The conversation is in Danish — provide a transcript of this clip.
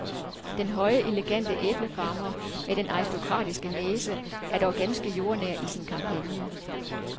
Den høje, elegante æblefarmer med den aristokratiske næse er dog ganske jordnær i sin kampagne.